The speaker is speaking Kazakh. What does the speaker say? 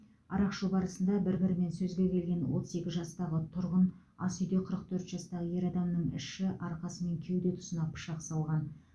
арақ ішу барысында бір бірімен сөзге келген отыз екі жастағы тұрғын асүйде қырық төрт жастағы ер адамның іші арқасы мен кеуде тұсына пышақ салған